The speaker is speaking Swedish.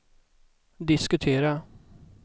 diskutera